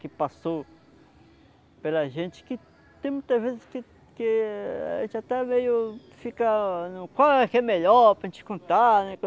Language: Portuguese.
Que passou pela a gente, que tem muitas vezes que que a gente até meio fica no... Qual é que é melhor para a gente contar, né?